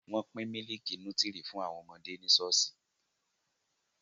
Wọ́n pín mílìkì nútírì fún àwọn ọmọdé ní ṣọ́ọ̀ṣì